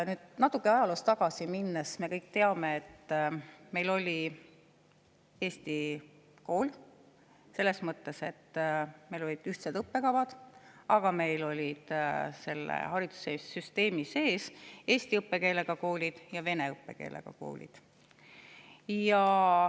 Kui ajaloos natuke tagasi minna, siis me kõik teame, et meil oli eesti kool, selles mõttes, et meil olid ühtsed õppekavad, aga haridussüsteemi sees olid eesti õppekeelega koolid ja vene õppekeelega koolid.